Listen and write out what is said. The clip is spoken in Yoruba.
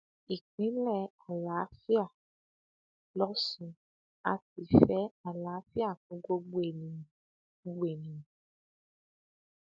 ìpínlẹ àlàáfíà lọsun a sì fẹ àlàáfíà fún gbogbo ènìyàn gbogbo ènìyàn